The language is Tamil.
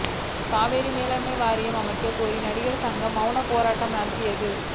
காவிரி மேலாண்மை வாரியம் அமைக்க கோரி நடிகர் சங்கம் மௌன போராட்டம் நடத்தியது